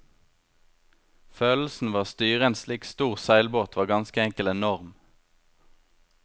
Følelsen ved å styre en slik stor seilbåt var ganske enkel enorm.